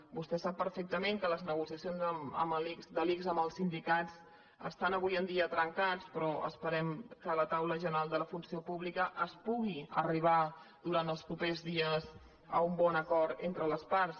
vostè sap perfectament que les nego·ciacions de l’ics amb els sindicats estan avui en dia trencades però esperem que a la taula general de la funció pública es pugui arribar durant els propers dies a un bon acord entre les parts